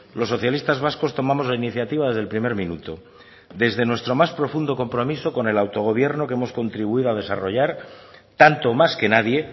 los socialistas vascos tomamos la iniciativa desde el primer minuto desde nuestro más profundo compromiso con el autogobierno que hemos contribuido a desarrollar tanto o más que nadie